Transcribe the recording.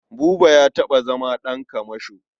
Buba ya taɓa zama ɗan kamasho.